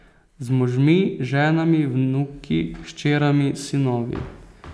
Z možmi, ženami, vnuki, hčerami, sinovi.